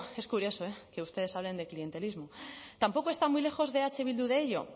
es curioso eh que ustedes hablen de clientelismo tampoco está muy lejos de eh bildu de ello